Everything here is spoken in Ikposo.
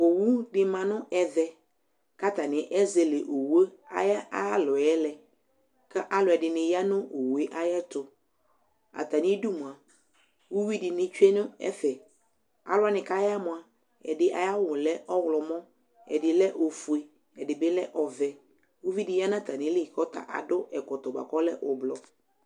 Owʊ dɩ ma ŋʊ ɛʋɛ kataŋɩ ezele owʊ ayalɔbƴɛ lɛ alʊ ɛdiŋɩ ƴa ŋʊ owʊe aƴɛtʊ Atamɩdʊ mʊa ʊwʊɩ ŋɩtsʊe ŋʊvefɛ Alʊ waŋɩ kaya mʊa ɛdɩ awʊ lɛ ɔwlɔmɔ, ɛdɩ lɛ ofʊe, ɛdɩ ɓɩ lɛ ɔʋɛ Ʊʋɩ dɩ ƴa ŋatamɩlɩ adʊ ɛkɔtɔ ɓʊaƙʊ ɔlɛ ʊɓlɔɔ